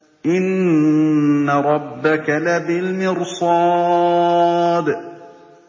إِنَّ رَبَّكَ لَبِالْمِرْصَادِ